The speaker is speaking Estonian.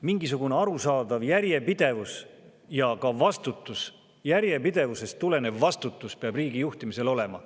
Mingisugune arusaadav järjepidevus ja ka vastutus – järjepidevusest tulenev vastutus – peab riigi juhtimisel olema.